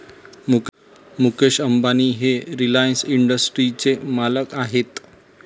मुकेश अंबानी हे रिलायन्स इंडस्ट्रीजचे मालक आहेत.